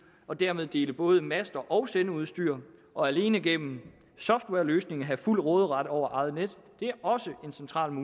og dermed dele både master og sendeudstyr og alene gennem softwareløsninger have fuld råderet over eget net står også centralt